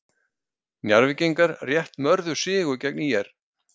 Njarðvíkingar rétt mörðu sigur gegn ÍR